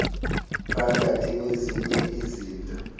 phakathi kwezinye izinto